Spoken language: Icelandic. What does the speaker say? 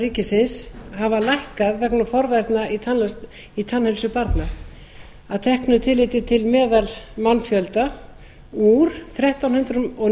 ríkisins hafa lækkað vegna forvarna í tannheilsu barna að teknu tilliti til meðalmannfjölda úr þrettán hundruð